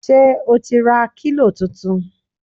Ṣé o ti ra kílò tuntun!